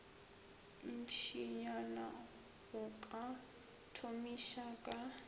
ntšinyana go ka thomiša ka